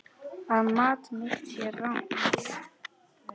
Að mat mitt sé rangt.